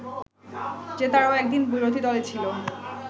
যে তারাও একদিন বিরোধী দলে ছিল